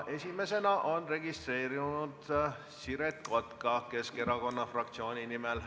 Esimesena on registreerunud Siret Kotka Keskerakonna fraktsiooni nimel.